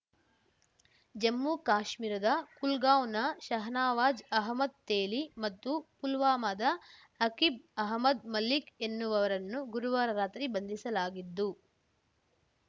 ಜಮ್ಮು ಕಾಶ್ಮೀರದ ಕುಲ್ಗಾಂವ್‌ನ ಶಹನವಾಜ್‌ ಅಹಮದ್‌ ತೇಲಿ ಮತ್ತು ಪುಲ್ವಾಮಾದ ಅಕಿಬ್‌ ಅಹಮದ್‌ ಮಲಿಕ್‌ ಎನ್ನುವವರನ್ನು ಗುರುವಾರ ರಾತ್ರಿ ಬಂಧಿಸಲಾಗಿದ್ದು